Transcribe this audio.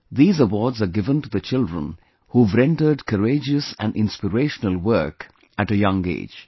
These awards are given to the children who have rendered courageous and inspirational work at a young age